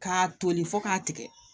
K'a toli fo k'a tigɛ